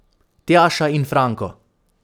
Tjaša in Franko.